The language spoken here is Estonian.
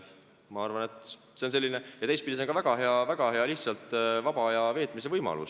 Teistpidi vaadates on see ka väga hea vaba aja veetmise võimalus.